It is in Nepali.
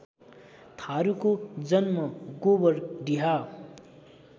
थारुको जन्म गोबरडिहा